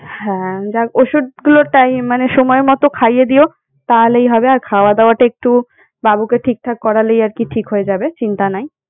হ্যাঁ যাক ওষুধ গুলো tim~ মানে সময় মত খাইয়ে দিও তাহলেই হবে। আর খাওয়া দাওয়াটা একটু বাবুকে ঠিকঠাক করালেই আর কি ঠিক হয়ে যাবে চিন্তা নাই।